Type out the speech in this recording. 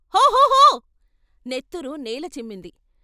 హొహొహొ! నెత్తురు నేల చిమ్మింది.